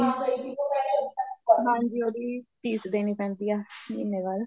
ਹਾਂ ਬਈ ਇੱਥੋਂ ਪਹਿਲੇ ਹਾਂਜੀ ਉਹਦੀ fees ਦੇਣੀ ਪੈਂਦੀ ਏ ਮਹੀਨੇ ਬਾਅਦ